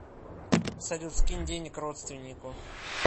салют скинь денег родственнику